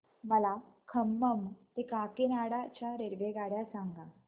मला खम्मम ते काकीनाडा च्या रेल्वेगाड्या सांगा